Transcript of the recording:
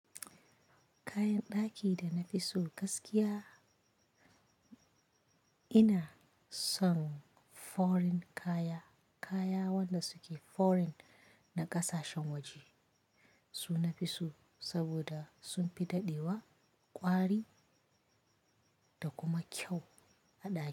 Kayan ɗaki da na fi so gaskiya, ina son foreign kaya. Kaya waɗanda suke foreign na ƙasashen waje su nafi so saboda sun fi daɗewa, ƙwari da kuma kyau a ɗaki.